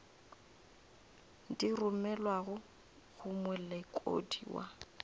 di romelwago go molekodi wa